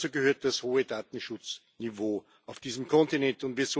Dazu gehört das hohe Datenschutzniveau auf diesem Kontinent.